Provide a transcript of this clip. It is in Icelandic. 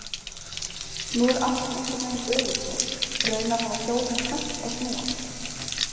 Nú er allt einhvern veginn öfugsnúið, raunar hafa hjólin hætt að snúast.